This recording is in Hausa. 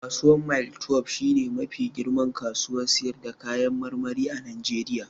Kasuwar mile twelbe shi ne mafi girman kasuwar sayar da kayan marmari a Najeriya